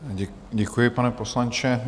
Děkuji, pane poslanče.